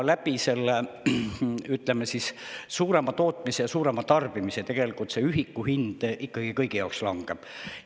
Aga suurema tootmise ja suurema tarbimise kaudu tegelikult ühiku hind ikkagi kõigi jaoks langeb.